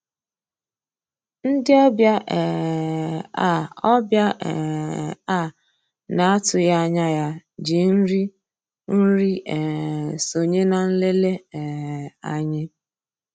Ndị́ ọ̀bịá um á ọ̀bịá um á ná-àtụ́ghị́ ànyá yá jì nrí nri um sonyéé ná nlélè um ànyị́.